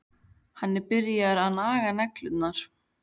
Hann er byrjaður að naga neglurnar.